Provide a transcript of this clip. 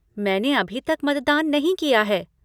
मैंने अभी तक मतदान नहीं किया है।